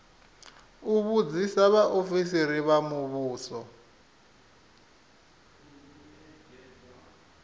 u vhudzisa vhaofisiri vha muvhuso